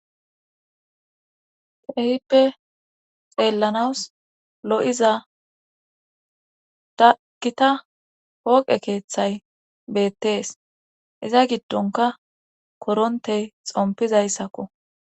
Kehippe xeellanawus lo'iza daggita hooqe keeththay beettees iza giddonka korontey xompizayssakko.